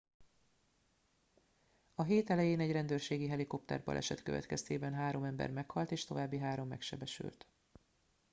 a hét elején egy rendőrségi helikopterbaleset következtében három ember meghalt és további három megsebesült